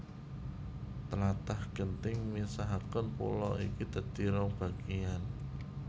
Tlatah genting misahaké pulo iki dadi rong bagéyan